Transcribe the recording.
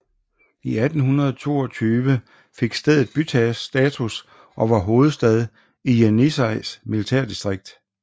I 1822 fik stedet bystatus og var blevet hovedstad i Jenisejs militærdistrikt